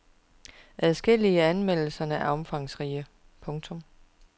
Adskillige af anmeldelserne er omfangsrige. punktum